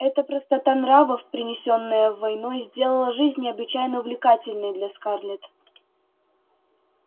эта простота нравов принесённая войной сделала жизнь необычайно увлекательной для скарлетт